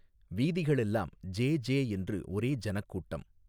வீதிகளெல்லாம் ஜே ஜே என்று ஒரே ஜனக்கூட்டம்.